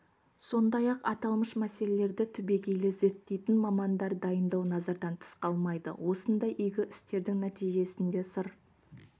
сондай-ақ аталмыш мәселелерді түбегейлі зерттейтін мамандар дайындау назардан тыс қалмайды осындай игі істердің нәтижесінде сыр